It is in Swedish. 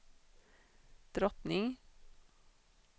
drottning